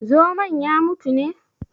Zomon ya mutu ne?